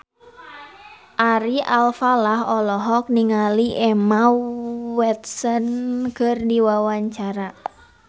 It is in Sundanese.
Ari Alfalah olohok ningali Emma Watson keur diwawancara